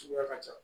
Suguya ka ca